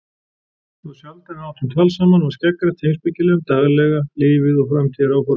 Þá sjaldan við áttum tal saman var skeggrætt heimspekilega um daglega lífið og framtíðaráformin.